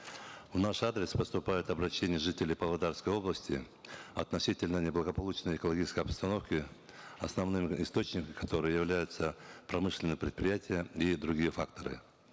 в наш адрес поступают обращения жителей павлодарской области относительно неблагополучной экологической обстановки основным источником которой являются промышленные предприятия и другие факторы